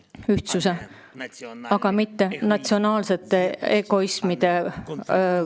Ühtsuse, mitte natsionaalsete egoismide kontinent.